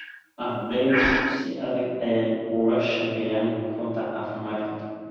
Ardeydu si adag ayey uga shaqeeyaan rugta caafimaadka